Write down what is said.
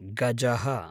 गजः